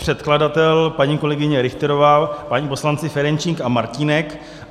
Předkladatelé paní kolegyně Richterová, páni poslanci Ferjenčík a Martínek.